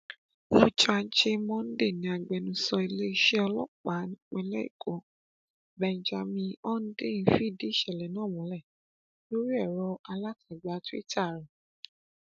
lọjọ ajé monday ni agbẹnusọ iléeṣẹ ọlọpàá nípìnlẹ ẹkọ benjamin hondyin fìdí ìṣẹlẹ náà múlẹ lórí ẹrọ alátagbà twitter rẹ